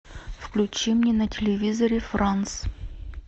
включи мне на телевизоре франс